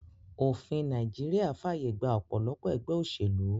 Òfin Naijiria fàyè gba òpòlopò egbé òsèlú